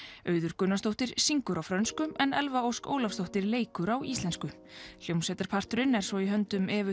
Auður Gunnarsdóttir syngur á frönsku en Elfa Ósk Ólafsdóttir leikur á íslensku hljómsveitarparturinn er svo í höndum Evu